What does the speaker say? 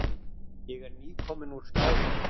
Ég er nýkominn úr Skálholti.